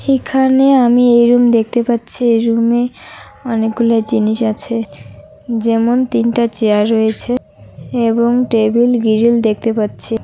এখানে আমি এইরুম দেখতে পাচ্ছি এইরুমে অনেকগুলো জিনিস আছে যেমন তিনটা চেয়ার রয়েছে এবং টেবিল গ্লিল দেখতে পাচ্ছি।